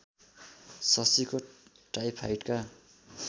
शशीको टाइफाइडका